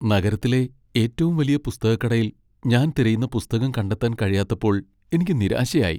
നഗരത്തിലെ ഏറ്റവും വലിയ പുസ്തകക്കടയിൽ ഞാൻ തിരയുന്ന പുസ്തകം കണ്ടെത്താൻ കഴിയാത്തപ്പോൾ എനിക്ക് നിരാശയായി .